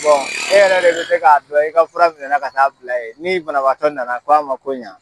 Bɔn e yɛrɛ de be se k'a dɔn i ka fura minɛ ka taa bila ye ni banabagatɔ nana k' a ma ko ɲa